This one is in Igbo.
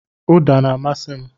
Uda na-amasị m.